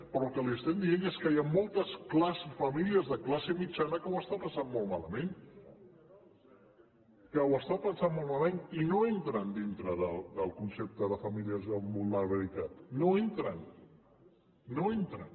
però el que li estem dient és que hi han moltes famílies de classe mitjana que ho estan passant molt malament que ho estan passant molt malament i no entren dintre del concepte de famílies amb vulnerabilitat no hi entren no hi entren